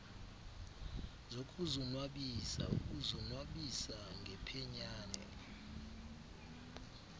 zokuzonwabisa ukuzonwabisa ngephenyane